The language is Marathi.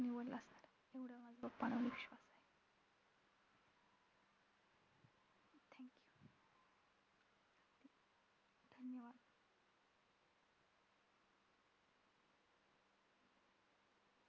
निवडला असणारं. एवढा माझ्या papa वर माझा विश विश्वास आहे.